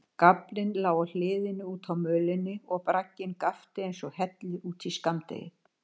Gaflinn lá á hliðinni útá mölinni og bragginn gapti einsog hellir út í skammdegið.